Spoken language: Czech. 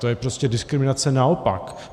To je prostě diskriminace naopak.